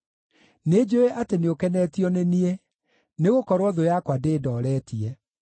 Nĩnjũũĩ atĩ nĩũkenetio nĩ niĩ, nĩgũkorwo thũ yakwa ndĩndooretie.